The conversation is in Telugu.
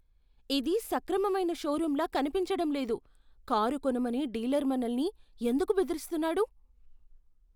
ఇది సక్రమమైన షోరూమ్లా కనిపించడం లేదు. కారు కొనమని డీలర్ మనల్ని ఎందుకు బెదిరిస్తున్నాడు?